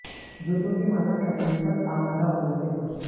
जूतों की माला पहनाने पर आमादा हो गए थे लोग